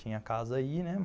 Tinha casa aí, né?